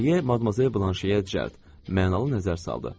Deqriye Madamzel Blanşeyə cəld, mənalı nəzər saldı.